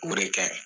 O de ka ɲi